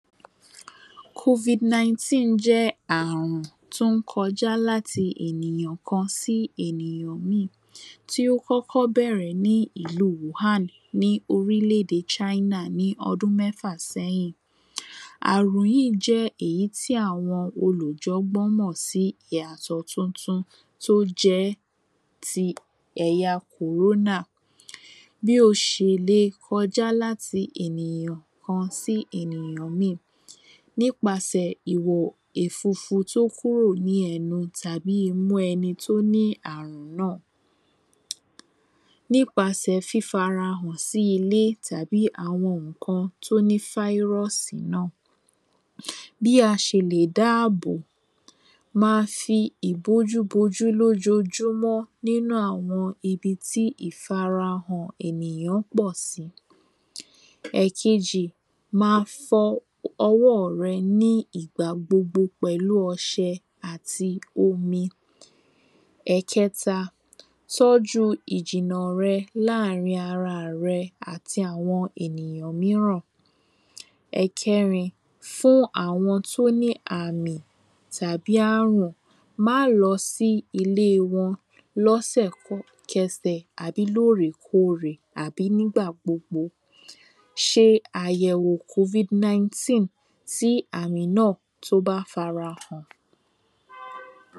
Covid 19 jẹ́ àrùn tó ń kọjá láti ènìyàn kan sí ènìyàn míì, tí ó kọ́kọ́ bẹ̀rẹ̀ ní ìlu Wuhan ní orílẹ̀-ède China ní ọdún mẹ́fà sẹ́yìn. àrùn yíi jẹ́ èyí tí àwọn olùjọ̀gbọ́n mọ̀ sí ìyàtọ̀ tuntun tó jẹ́ ti ẹ̀ya kòrónà, bí o ṣè lè kọjá láti ènìyàn kan sí ènìyàn míì nípasẹ̀ ìwo èfufu tó kúrò ní ẹnu tàbí imú ẹni tó ní àrùn náà nípasẹ̀ fífara hàn sí ilé tàbí àwọn ǹkan tí ó ní fáírọ̀ọ̀sì náà bí a ṣè lè dá ààbò - máa fi ìbòjú bojú ní ojoojúmọ́ ní inú àwọn ibi tí ìfarahàn ènìyàn pọ̀ sí ẹ̀kejì máa fọ ọwọ́ rẹ ní ìgbà gbogbo pẹ̀lú ọṣẹ àti omi ẹ̀keta, tọ́ju ìjìnà rẹ láàrín ara rẹ àti ènìyàn míràn ẹ̀kẹrin, fún àwọn tí ó ní àmì tàbí àrùn ẹ̀kẹrin, fún àwọn tí ó ní àmì tàbí àrùn, má lọ sí ilé wọn lẹ́sẹ̀kẹsẹ̀ lóòrèkóòrè àbí ní ìgbà gbogbo ṣe àyẹ̀wò covid 19 tí àmì náà tí ó bá fi ara hàn